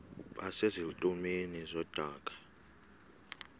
base zitulmeni zedaka